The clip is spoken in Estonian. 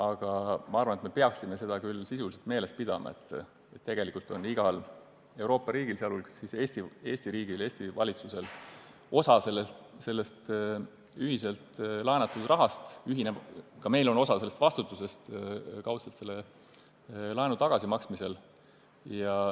Aga ma arvan, et peaksime sisuliselt meeles pidama, et tegelikult on igal Euroopa riigil – sh Eesti riigil, Eesti valitsusel – osa selle ühiselt laenatud rahaga kaasnevast vastutusest laenu tagasimaksmisel.